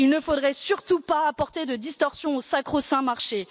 Il ne faudrait surtout pas apporter de distorsion au sacro saint marché.